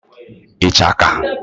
ichaka